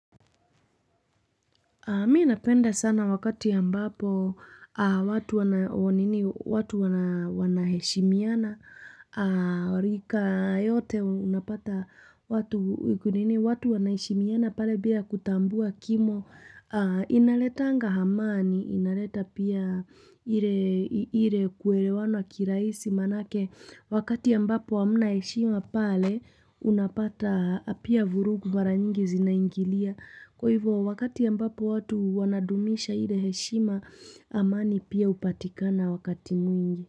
Mi napenda sana wakati ya ambapo watu wanaheshimiana. Rika yote unapata watu waki, watu wanaheshimiana pale bila kutambua kimo. Inaletanga amani, inaleta pia ile kuelewana kirahisi manake. Wakati ya ambapo hamna hishima pale unapata pia vurugu mara nyingi zinaingilia. Kwa hivyo wakati ambapo watu wanadumisha ile heshima amani pia hupatikana wakati mwingi.